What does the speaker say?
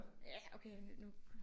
Ja okay nu